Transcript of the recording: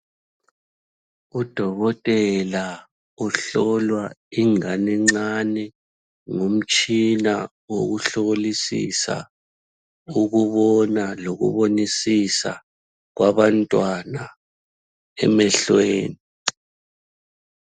Udokotela uhlola ingane encane ngomtshina wokuhlolisisa ukubona lokubonisisa kwabantwana emehlweni.